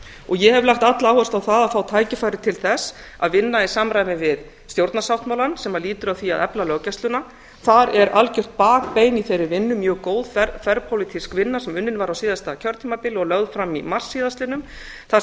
og ég hef lagt alla áherslu á það að fá tækifæri til þess að vinna í samræmi við stjórnarsáttmálann sem lýtur að því að efla löggæsluna þar er algert bakbein í þeirri vinnu mjög góð þverpólitísk vinna sem unnin var á síðasta kjörtímabili og lögð fram í mars síðastliðnum þar